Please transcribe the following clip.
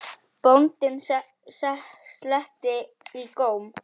Bóndinn sletti í góm.